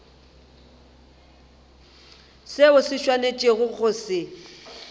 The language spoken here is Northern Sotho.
seo o swanetšego go se